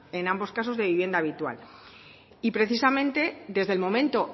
en ambos casos de vivienda habitual y precisamente desde el momento